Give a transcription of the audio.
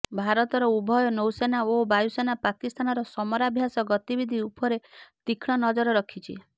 ଭାରତର ଉଭୟ ନୌସେନା ଓ ବାୟୁସେନା ପାକିସ୍ତାନର ସମରାଭ୍ୟାସ ଗତିବିଧି ଉପରେ ତୀକ୍ଷଣ ନଜର ରଖିଛି